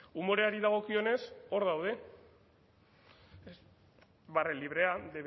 humoreari dagokionez hor daude barre librea